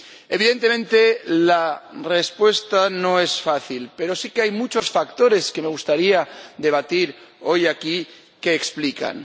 Evidentemente, la respuesta no es fácil pero sí que hay muchos factores, que me gustaría debatir hoy aquí, que lo explican.